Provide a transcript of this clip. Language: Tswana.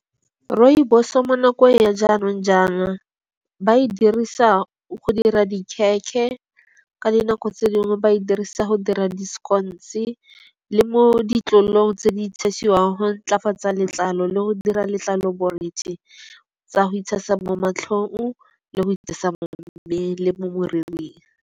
Rooibos-o mo nakong ya jaanong jana ba e dirisa go dira di-khekhe, ka dinako tse dingwe ba e dirisa go dira di-scones le mo ditlolong tse di tshiwang go ntlafatsa letlalo le go dira letlalo borethe, tsa go itshasa mo matlhong le go itshasa mo mmeleng le mo moriring.